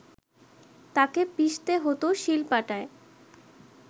তাকে পিষতে হত শিলপাটায়